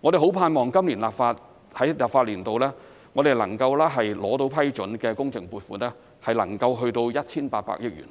我們盼望在本立法年度獲得批准的工程撥款能夠達至 1,800 億元，